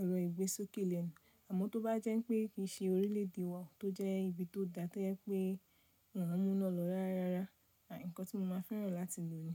ẹ̀rọ ìgbésókè lẹ́nu. Àmọ́ tó bá jẹ́ pé kì í ṣe orílẹ̀ èdè wa tó jẹ́ ibi tó dá tẹ́ jẹ́ pé wọ́n ń mú iná lọ rárá rárá, ǹkan tí mo máa fẹ́ràn láti lò ni.